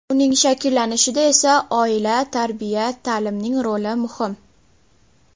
Uning shakllanishida esa oila, tarbiya, ta’limning roli muhim.